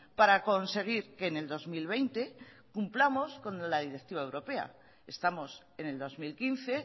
para conseguir que en el dos mil veinte cumplamos con la directiva europea estamos en el dos mil quince